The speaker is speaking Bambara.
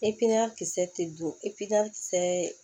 I piɲa kisɛ tɛ don i piɲa kisɛ